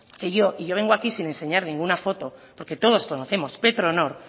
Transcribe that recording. que yo y yo vengo aquí sin enseñarle ninguna foto porque todos conocemos petronor